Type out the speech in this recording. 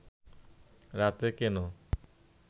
রাতে কেন